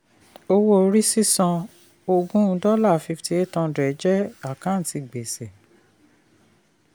owó orí sísan oògùn five thousand eight hundred dollar jẹ́ àkántì gbèsè.